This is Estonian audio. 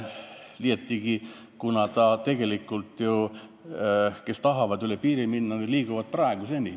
Liiatigi, tegelikult need, kes tahavad üle piiri minna, liiguvad praegu ka.